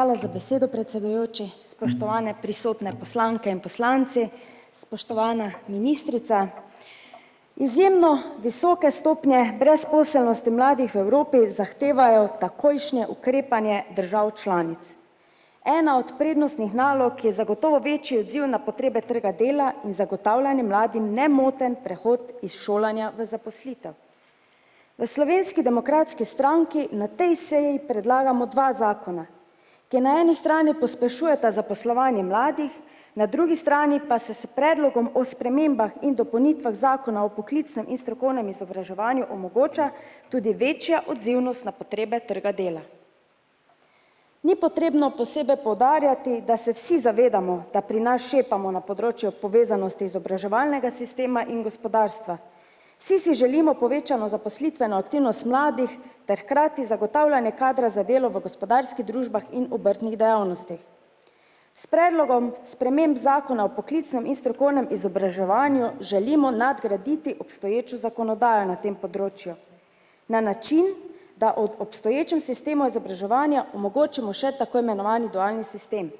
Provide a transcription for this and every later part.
Hvala za besedo predsedujoči, spoštovane prisotne, poslanke in poslanci, spoštovana ministrica. Izjemno visoke stopnje brezposelnosti mladih v Evropi zahtevajo takojšnje ukrepanje držav članic. Ena od prednostnih nalog je zagotovo večji odziv na potrebe trga dela in zagotavljanje mladim nemoten prehod iz šolanja v zaposlitev. V Slovenski demokratski stranki na tej seji predlagamo dva zakona, ki na eni strani pospešujeta zaposlovanje mladih, na drugi strani pa se s predlogom o spremembah in dopolnitvah zakona o poklicnem in strokovnem izobraževanju omogoča tudi večja odzivnost na potrebe trga dela. Ni potrebno posebej poudarjati, da se vsi zavedamo, da pri nas šepamo na področju povezanosti izobraževalnega sistema in gospodarstva. Si si želimo povečano zaposlitveno aktivnost mladih ter hkrati zagotavljanje kadra za delo v gospodarskih družbah in obrtnih dejavnostih. S predlogom sprememb zakona o poklicnem in strokovnem izobraževanju želimo nadgraditi obstoječo zakonodajo na tem področju na način, da ob obstoječem sistemu izobraževanja omogočimo še tako imenovani dualni sistem.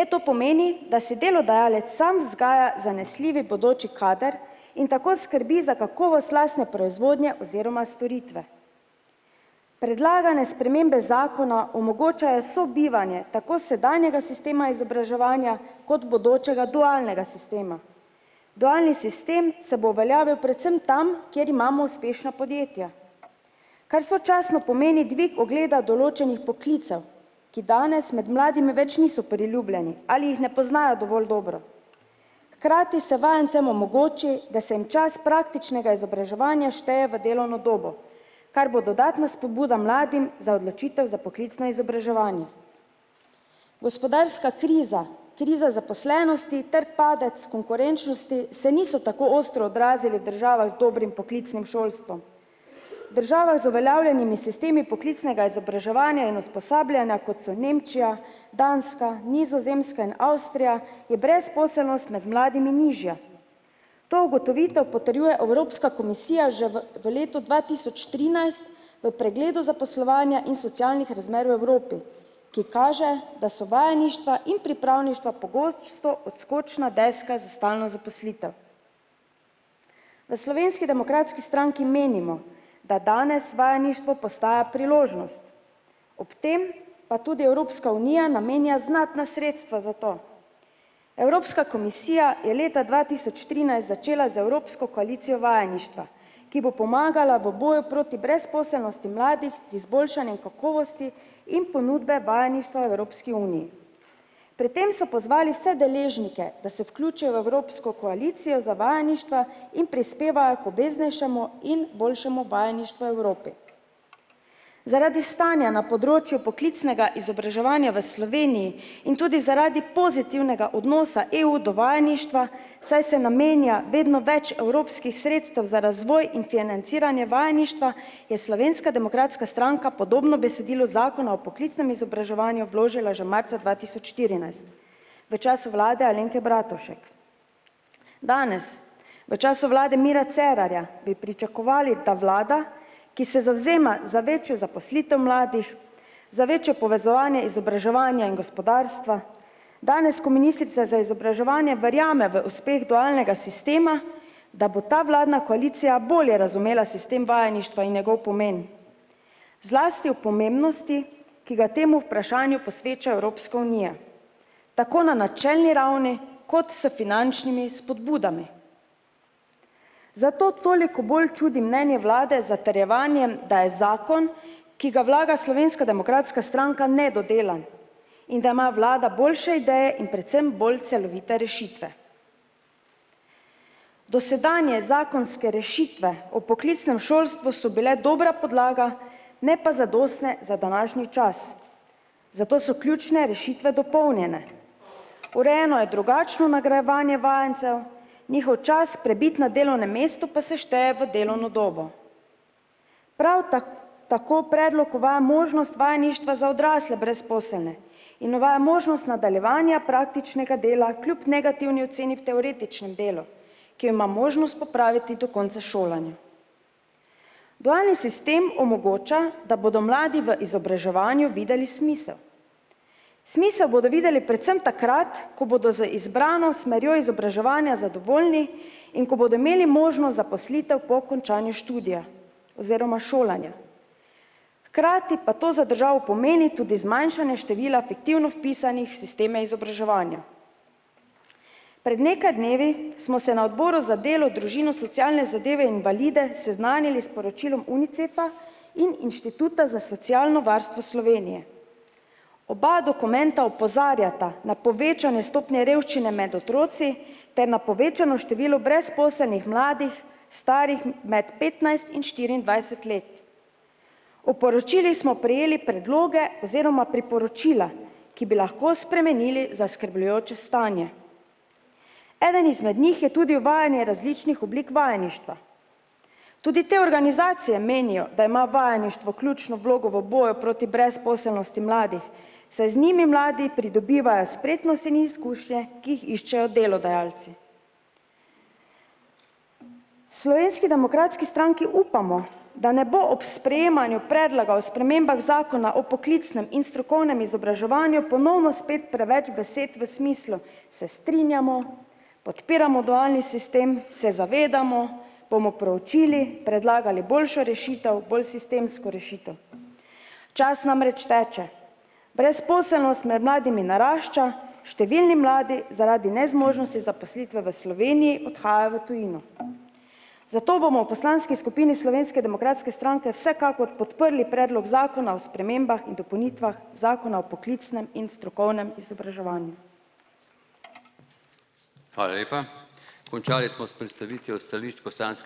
Le to pomeni, da si delodajalec sam vzgaja zanesljivi bodoči kader in tako skrbi za kakovost lastne proizvodnje oziroma storitve. Predlagane spremembe zakona omogočajo sobivanje tako sedanjega sistema izobraževanja kot bodočega dualnega sistema. Dualni sistem se bo uveljavil predvsem tam, kjer imamo uspešna podjetja. Kar sočasno pomeni dvig ogleda določenih poklicev, ki danes med mladimi več niso priljubljeni ali jih ne poznajo dobro. Hkrati se vajencem omogoči, da se jim čas praktičnega izobraževanja šteje v delovno dobo, kar bo dodatna spodbuda mladim za odločitev za poklicno izobraževanje. Gospodarska kriza kriza zaposlenosti ter padec konkurenčnosti se niso tako ostro odrazili v državah z dobrim poklicnim šolstvom. Država je z uveljavljenimi sistemi poklicnega izobraževanja in usposabljanja, kot so Nemčija, Danska, Nizozemska in Avstrija, je brezposelnost med mladimi nižja. To ugotovitev potrjuje Evropska komisija že v v letu dva tisoč trinajst v pregledu zaposlovanja in socialnih razmer v Evropi, ki kaže, da so vajeništva in pripravništva pogosto odskočna deska za stalno zaposlitev. V Slovenski demokratski stranki menimo, da danes vajeništvo postaja priložnost, ob tem pa tudi Evropska unija namenja znatna sredstva za to. Evropska komisija je leta dva tisoč trinajst začela z evropsko koalicijo vajeništva, ki bo pomagala v boju proti brezposelnosti mladih z izboljšanjem kakovosti in ponudbe vajeništva v Evropski uniji. Pri tem so pozvali vse deležnike, da se vključijo v evropsko koalicijo za vajeništva in prispevajo k obveznejšemu in boljšemu vajeništvu v Evropi. Zaradi stanja na področju poklicnega izobraževanja v Sloveniji in tudi zaradi pozitivnega odnosa EU do vajeništva, saj se namenja vedno več evropskih sredstev za razvoj in financiranje vajeništva, je Slovenska demokratska stranka podobno besedilo zakona o poklicnem izobraževanju vložila že marca dva tisoč štirinajst v času vlade Alenke Bratušek. Danes, v času vlade Mira Cerarja, bi pričakovali, da vlada, ki se zavzema za večjo zaposlitev mladih, za večjo povezovanje izobraževanja in gospodarstva, danes, ko ministrica za izobraževanje verjame v uspeh dualnega sistema, da bo ta vladna koalicija bolje razumela sistem vajeništva in njegov pomen. Zlasti o pomembnosti, ki ga temu vprašanju posveča Evropska unija. Tako na načelni ravni kot s finančnimi spodbudami. Zato toliko bolj čudi mnenje vlade z zatrjevanjem, da je zakon, ki ga vlaga Slovenska demokratska stranka, nedodelan in da ima vlada boljše ideje in predvsem bolj celovite rešitve. Dosedanje zakonske rešitve o poklicnem šolstvu so bile dobra podlaga, ne pa zadostne za današnji čas. Zato so ključne rešitve dopolnjene. Urejeno je drugačno nagrajevanje vajencev njihov čas prebit na delovnem mestu pa se šteje v delovno dobo. Prav tako predlog uvaja možnost vajeništva za odrasle brezposelne in uvaja možnost nadaljevanja praktičnega dela kljub negativni oceni v teoretičnem delu, ki jo ima možnost popraviti do konca šolanja. Dualni sistem omogoča, da bodo mladi v izobraževanju videli smisel. Smisel bodo videli predvsem takrat, ko bodo z izbrano smerjo izobraževanja zadovoljni in ko bodo imeli možnost zaposlitev po končanju študija oziroma šolanja. Hkrati pa to za državo pomeni tudi zmanjšanje števila fiktivno vpisanih v sisteme izobraževanja. Pred nekaj dnevi smo se na odboru za delo, družino, socialne zadeve, invalide seznanili s poročilom Unicefa in Inštituta za socialno varstvo Slovenije. Oba dokumenta opozarjata na povečanje stopnje revščine med otroci ter na povečano število brezposelnih mladih, starih med petnajst in štiriindvajset let. O poročilih smo prejeli predloge oziroma priporočila, ki bi lahko spremenili zaskrbljujoče stanje. Eden izmed njih je tudi uvajanje različnih oblik vajeništva. Tudi te organizacije menijo, da ima vajeništvo ključno vlogo v boju proti brezposelnosti mladih, saj z njimi mladi pridobivajo spretnost in izkušnje, ki jih iščejo delodajalci. Slovenski demokratski stranki upamo, da ne bo ob sprejemanju predloga o spremembah zakona o poklicnem in strokovnem izobraževanju ponovno spet preveč besed v smislu: "Se strinjamo, podpiramo dualni sistem, se zavedamo, bomo proučili, predlagali boljšo rešitev, bolj sistemsko rešitev." Čas namreč teče. Brezposelnost med mladimi narašča, številni mladi zaradi nezmožnosti zaposlitve v Sloveniji odhaja v tujino. Zato bomo v poslanski skupini Slovenske demokratske stranke vsekakor podprli predlog zakona o spremembah in dopolnitvah zakona o poklicnem in strokovnem izobraževanju.